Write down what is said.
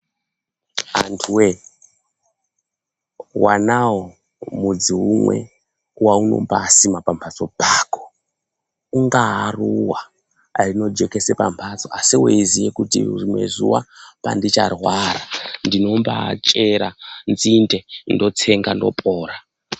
Antu woye wonawo mudzi umwe waunombasima pamphatso pako. Ungaa ruva anojekesa pamphatso asi uchiziya kuti rimweni zuva pandicharwara ndinobaachera nzinde ndotsenga ndopora.